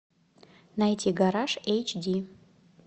найти гараж эйч ди